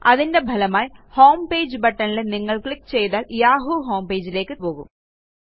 അതിന്റെ ഫലമായി ഹോംപേജ് buttonൽ നിങ്ങൾ ക്ലിക്ക് ചെയ്താൽ യാഹൂ homepageലേയ്ക്ക് പോകും